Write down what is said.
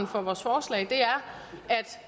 for vores forslag er